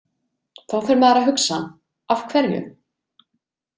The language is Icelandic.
Þá fer maður að hugsa „Af hverju?